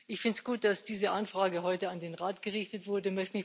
Ich finde es gut, dass diese Anfrage heute an den Rat gerichtet wurde.